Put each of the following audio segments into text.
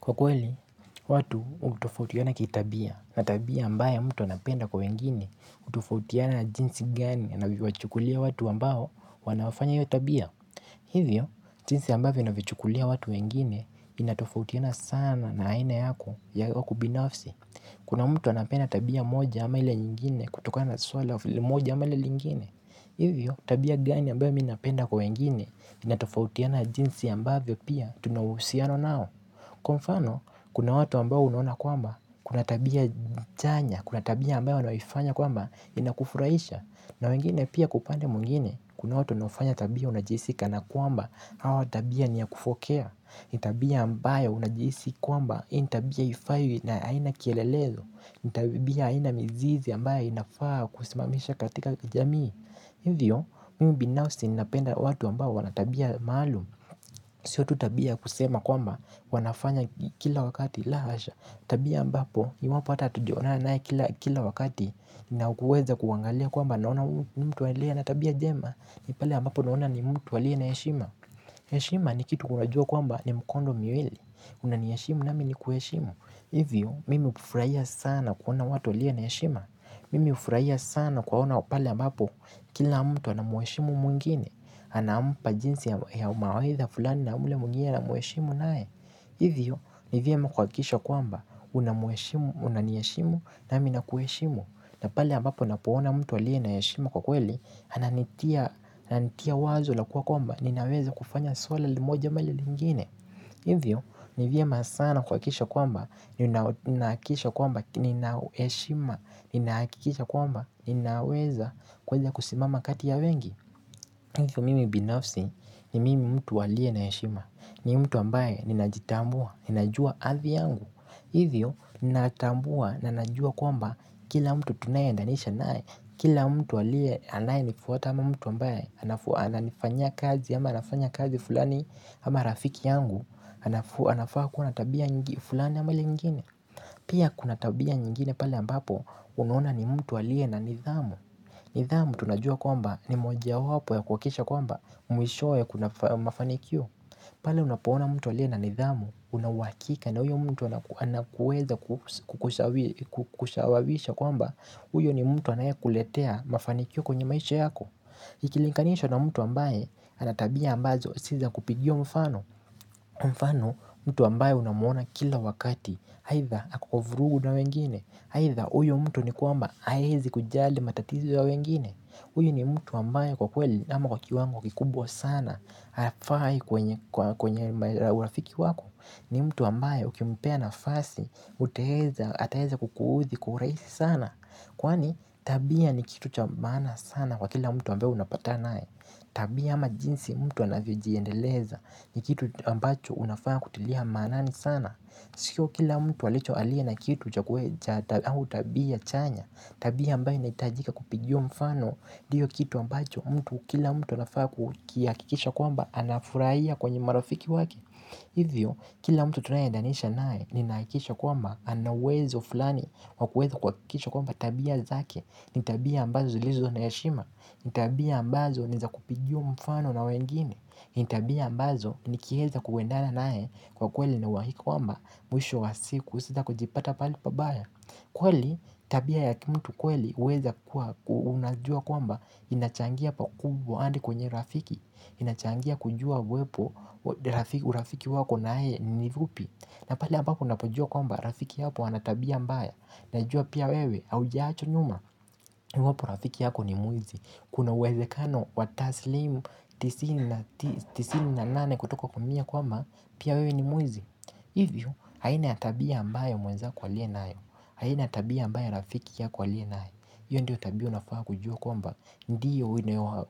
Kwa kweli, watu utofautiana kitabia na tabia ambayo mtu anapenda kwa wengine utofautiana jinsi gani anavyo wachukulia watu ambao wanaofanya hiyo tabia. Hivyo, jinsi ambavyo inavichukulia watu wengine inatofautiana sana na haina yako ya ubinafsi. Kuna mtu anapenda tabia moja ama ile nyingine kutokana na suala moja ama ile lingine. Hivyo, tabia gani ambayo mimi napenda kwa wengine inatofautiana jinsi ambavyo pia tuna uhusiano nao. Kwa mfano, kuna watu ambao unaona kwamba, kuna tabia chanya, kuna tabia ambayo wanayoifanya kwamba, inakufuraisha. Na wengine pia kwa upande mwingine, kuna watu wanawaofanya tabia unajihisi kana kwamba, hawa tabia niya kufokea hii ni tabia ambayo unajihisi kwamba, hii ni tabia hifai haina kielelezo ni tabia haina mzizi ambayo inafaa kusimamishwa katika jamii. Hivyo mimi binafsi ninapenda watu ambao wana tabia maalumu. Sio tu tabia kusema kwamba wanafanya kila wakati la hasha. Tabia ambapo iwapo ata hatujaonana naye kila wakati. Ninauweza kuangalia kwamba naona mtu aliye na tabia njema. Ni pale ambapo naona ni mtu aliye na heshima, heshima ni kitu unajua kwamba ni mkondo miwili. Unani heshimu nami nikuheshimu. Hivyo mimi ufurahia sana kuona watu waliyo na heshima. Mimi ufurahia sana kuwaona pale ambapo kila mtu anamueshimu mwingine, anampa jinsi ya mawaidha fulani na ule mwingine anamheshimu naye. Hivyo, nivyema kuhakisha kwamba, unaniheshimu, nami nakuheshimu. Na pale ambapo napona mtu aliye na heshima kwa kweli, ananitia wazo la kuwa kwamba, ninaweza kufanya swala moja ama lile lingine. Hivyo ni vyema sana kuhakikisha kwamba ninahakikisha kwamba nina heshima ninahakikisha kwamba ni naweza kuweza kusimama kati ya wengi. Hivyo mimi binafsi ni mimi mtu aliye na heshima ni mtu ambaye ni najitambua ni najua athi yangu. Hivyo ninatambua na najua kwamba kila mtu tunaye endanisha naye. Kila mtu aliye anaye nifuata ama mtu ambaye ananifanyia kazi ama nafanya kazi fulani ama rafiki yangu. Anafaa kuwa tabia fulani ama lile nyingine. Pia kuna tabia nyingine pale ambapo unaona ni mtu aliye na nidhamu. Nidhamu tunajua kwamba ni moja wapo ya kuhakikisha kwamba mwishowe kuna mafanikio. Pale unapona mtu aliye na nidhamu. Una huakika na huyo mtu anaweza kukushawawisha kwamba uyo ni mtu anaye kuletea mafanikio kwenye maisha yako. Ikilinganishwa na mtu ambaye ana tabia ambazo si za kupigiwa mfano. Mfano mtu ambayo unamwona kila wakati. Haidha hako kwa vurugu na wengine. Haidha uyo mtu ni kuamba hawezi kujali matatizo ya wengine huyu ni mtu ambaye kwa kweli ama kwa kiwango kikubwa sana. Hafai kwenye urafiki wako. Ni mtu ambaye ukimpea nafasi. Uteweza ataweza kukuhudhi kwa urahisi sana. Kwani tabia ni kitu cha maana sana kwa kila mtu ambaye unapatana naye. Tabia ama jinsi mtu anavyojiendeleza. Ni kitu ambacho unafaa kutilia maanani sana. Sio kila mtu aliye na kitu au tabia chanya. Tabia ambayo inaitajika kupigiwa mfano ndiyo kitu ambacho mtu kila mtu anafaa kukihakikisha kwamba anafurahia kwenye marafiki wake. Hivyo kila mtu tunaye edanisha naye ninahakikisha kwamba ana uwezo fulani wakuweza kuhakikisha kwamba tabia zake. Ni tabia ambazo zilizo na heshima. Ni tabia ambazo niza kupigiwa mfano na wengine. Ni tabia mbazo nikiweza kuwendana naye kwa kweli nina uhakika kwamba mwisho wa siku sita kujipata pahali pabaya. Kweli tabia ya kimutu kweli uweza kuwa unajua kwamba inachangia pa kubwa hadi kwenye rafiki. Inachangia kujua uwepo urafiki wako naye ni fupi. Na pale ambapo unapojua kwamba rafiki yako ana tabia mbaya. Najua pia wewe haujaachwa nyuma iwapo rafiki yako ni mwizi. Kuna uwezekano wataslimu tisini na tisa tisini na nane kutoka kwa mia kwamba pia wewe ni mwizi. Hivyo haina ya tabia ambayo mwenzako aliyo nayo. Haina ya tabia ambayo rafiki yako aliyo nayo. Hiyo ndiyo tabia unafaa kujua kwamba ndiyo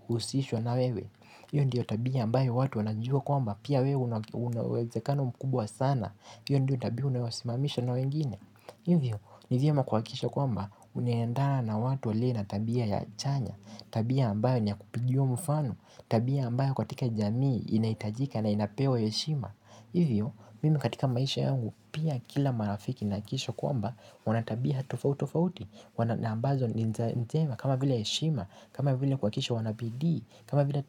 usishwa na wewe. Hiyo ndiyo tabia ambayo watu wanajua kwamba pia wewe unauwezekano mkubwa sana. Hiyo ndiyo tabia unayosimamisha na wengine. Hivyo nivyema kuhakikisha kwamba unaenda na watu walio na tabia ya chanya. Tabia ambayo niya kupigiwa mfano. Tabia ambayo katika jamii inahitajika na inapewa heshima. Hivyo, mimi katika maisha yangu pia kila marafiki nahakikisho kwamba wana tabia tofauti tofauti na ambazo ni njema. Kama vile heshima. Kama vile kuhakikisha wana bidii. Kama vile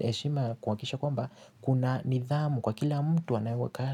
heshima kuhakikisha kwamba kuna nidhamu kwa kila mtu wanaweka.